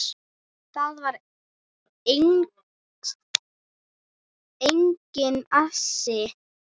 Þar var enginn asi.